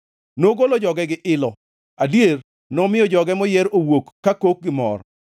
Nogolo joge gi ilo, adier, nomiyo joge moyier owuok kakok gi mor;